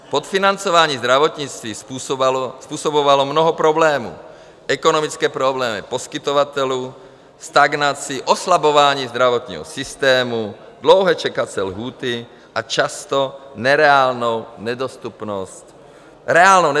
Podfinancování zdravotnictví způsobovalo mnoho problémů, ekonomické problémy poskytovatelů, stagnaci, oslabování zdravotního systému, dlouhé čekací lhůty a často reálnou nedostupnost zdravotní péče.